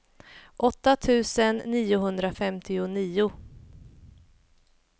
åtta tusen niohundrafemtionio